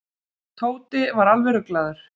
Tóti var alveg ruglaður.